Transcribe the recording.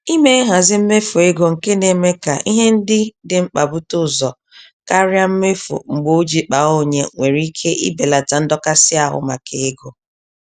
Ime nhazi mmefu ego nke némè' ka ihe ndị dị mkpa bute ụzọ karịa mmefu-mgbe-o-ji-kpaa-onye nwere ike ibelata ndọkasị ahụ maka ego.